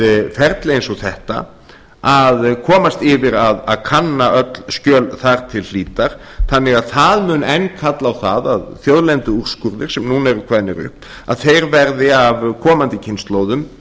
við ferli eins og þetta að komast yfir að kanna öll skjöl þar til hlítar þannig að það mun enn kalla á það að þjóðlenduúrskurðir sem núna eru kveðnir upp að þeir verði af komandi kynslóðum